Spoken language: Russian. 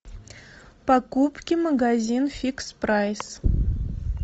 покупки магазин фикс прайс